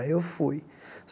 Aí eu fui.